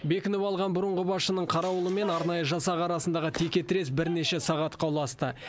бекініп алған бұрынғы басшының қарауылы мен арнайы жасақ арасындағы текетірес бірнеше сағатқа ұласты